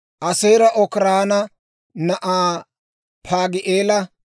Aaseera Okiraana na'aa Paagi'eela,